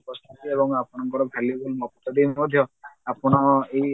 ପ୍ରସ୍ତୁତି ଏବଂ ଆପଣଙ୍କର valuable ମକ୍ତବ୍ୟ ବି ମଧ୍ୟ ଆପଣ ଏଇ